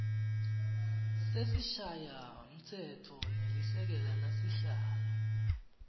sesishayamtsetfo nelisekela lasihlalo